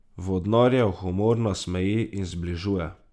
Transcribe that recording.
Vodnarjev humor nasmeji in zbližuje.